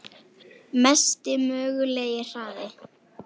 Mesti mögulegi hraði?